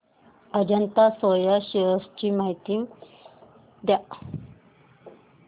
Ajanta Soya shares ची माहिती द्या